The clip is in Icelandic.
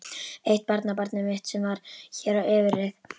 Eitt barnabarnið mitt sem var hér á yfirreið.